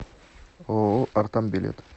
ооо артам билет